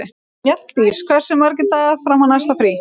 Mjalldís, hversu margir dagar fram að næsta fríi?